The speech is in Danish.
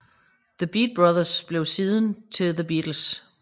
The Beat Brothers blev siden til The Beatles